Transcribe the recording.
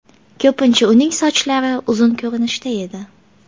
Ko‘pincha uning sochlari uzun ko‘rinishda edi.